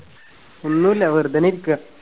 ഒന്നൂല്ല വെറുതെ നിക്കാ.